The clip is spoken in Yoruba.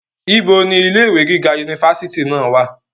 ibo ni ilé ìwé gíga unifásitì náà wà?